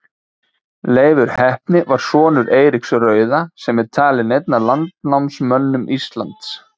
Leifur heppni var sonur Eiríks rauða sem er talinn einn af landnámsmönnum Íslands.